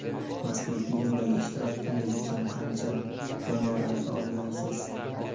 Mazkur filmlardagi ishtirokingiz uchun qancha gonorar olgansiz?